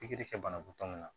Pikiri kɛ banabaatɔw ma